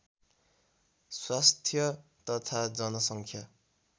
स्वास्थ्य तथा जनसङ्ख्या